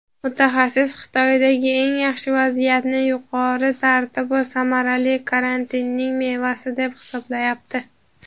Mutaxassis Xitoydagi yaxshi vaziyatni yuqori tartib va samarali karantinning "meva"si deb hisoblayapti.